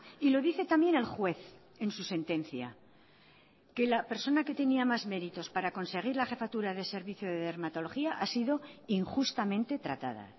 y lo dice también el juez en su sentencia que la persona que tenía más meritos para conseguir la jefatura de servicio de dermatología ha sido injustamente tratada